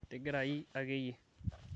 tigirai ake iyie